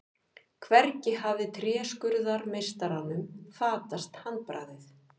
Hvergi hafði tréskurðarmeistaranum fatast handbragðið.